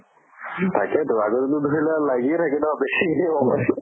তাকে টো আগত লাগি থাকে ন বেছি